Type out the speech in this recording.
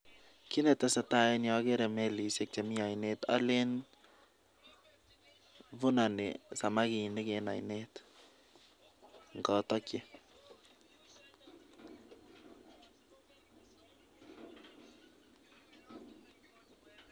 Kiit ne tesetai eng yu, ageere melisiek chemi ainet, alen vunani samakinik eng oinet ngatakchi.